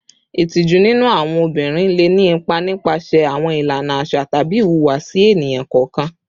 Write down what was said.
Itiju ninu awọn obinrin le ni ipa nipasẹ awọn ilana aṣa tabi ihuwasi eniyan kọọkan